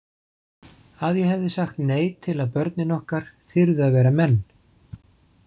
Að ég hefði sagt nei til að börnin okkar þyrðu að vera menn.